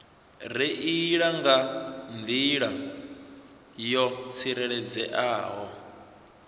reila nga nḓila yo tsireledzeaho